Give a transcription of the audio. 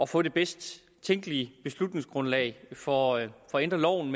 få det bedst tænkelige beslutningsgrundlag for at ændre loven